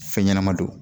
Fɛn ɲɛnɛma don